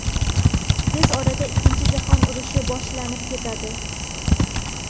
Tez orada ikkinchi jahon urushi boshlanib ketadi.